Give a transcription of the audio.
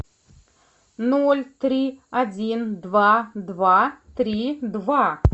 ноль три один два два три два